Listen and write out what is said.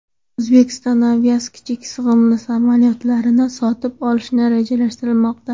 Uzbekistan Airways kichik sig‘imli samolyotlarni sotib olishni rejalashtirmoqda.